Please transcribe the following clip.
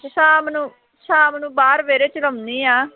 ਸ਼ਾਮ ਨੂੰ, ਸ਼ਾਮ ਨੂੰ ਬਾਹਰ ਵਿਹੜੇ ਚ ਲਾਉਂਦੀ ਹਾਂ।